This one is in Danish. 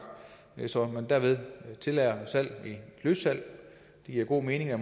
så man derved tillader løssalg det giver god mening at